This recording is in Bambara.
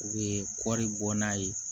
U bɛ kɔɔri bɔ n'a ye